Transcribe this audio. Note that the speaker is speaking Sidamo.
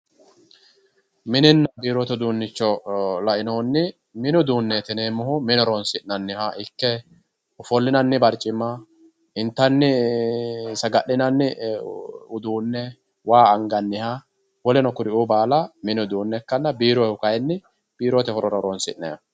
Mininna biirote uduunicho lainohunni mini uduuneti yinneemmohu mine horonsi'nanniha ikke ofollinanni baricima intanni ee saga'linanni uduune waa anganniha woleno kuri baalla mini uduune mini uduune ikkanna biirohu kayinni biirote horonsi'neemmoho.